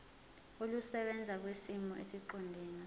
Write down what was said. olusebenza kwisimo esiqondena